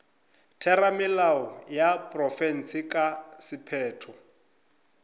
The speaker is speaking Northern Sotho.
theramelao ya profense ka sephetho